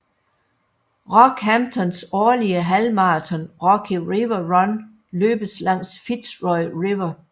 Rockhamptons årlige halvmarathon Rocky River Run løbes langs Fitzroy River